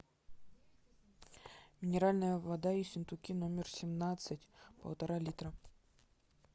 минеральная вода ессентуки номер семнадцать полтора литра